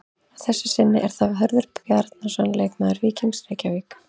Að þessu sinni er það Hörður Bjarnason leikmaður Víkings Reykjavík.